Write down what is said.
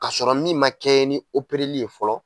Ka sɔrɔ min man kɛɲɛ ni li ye fɔlɔ